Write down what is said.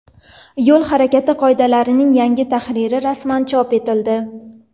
Yo‘l harakati qoidalarining yangi tahriri rasman chop etildi.